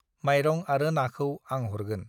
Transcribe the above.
माइरं आरो नाखौ आं हरगोन।